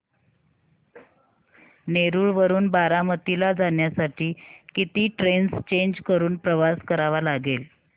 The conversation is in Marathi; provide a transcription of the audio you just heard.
नेरळ वरून बारामती ला जाण्यासाठी किती ट्रेन्स चेंज करून प्रवास करावा लागेल